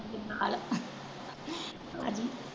ਨਾਲ